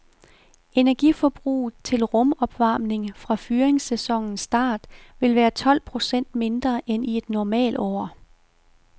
Energiforbruget til rum opvarmning fra fyringssæsonens start vil være tolv procent mindre end i et normalår.